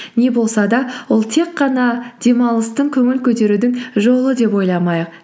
не болса да ол тек қана демалыстың көңіл көтерудің жолы деп ойламайық